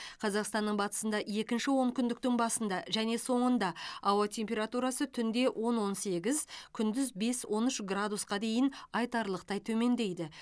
қазақстанның батысында екінші онкүндіктің басында және соңында ауа температурасы түнде он он сегіз күндіз бес он үш градусқа дейін айтарлықтай төмендейді